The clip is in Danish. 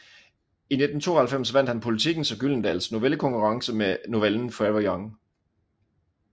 I 1992 vandt han Politikens og Gyldendals novellekonkurrence med novellen Forever Young